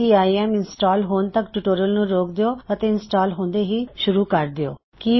CIM install ਹੋਣ ਤਕ tutorial ਨੁੰ ਰੋਕ ਦਿਉ ਅਤੇ ਇੰਸਟਾਲ ਹੁੰਦੇ ਹੀ ਇਸਨੂਂ ਦੋਬਾਰਾ ਸ਼ੁਰੂ ਕਰ ਦਿੳ